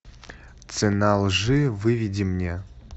цена лжи выведи мне